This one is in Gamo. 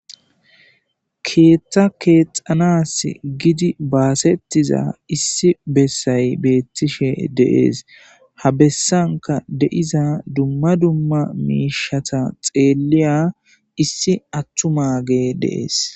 Keeththa keexanas gidi baasettiza issi bessay beettishe deees ha bessanka deiza dumma dumma miishata xeeliya issi attu mage deees